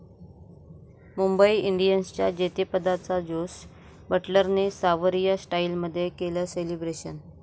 मुंबई इंडियन्सच्या जेतेपदाचं जोस बटलरने 'सावरिया' स्टाईलमध्ये केलं सेलिब्रेशन!